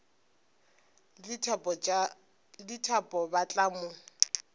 le dithapo ba tla mo